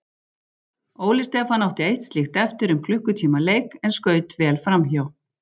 Óli Stefán átti eitt slíkt eftir um klukkutíma leik en skaut vel framhjá.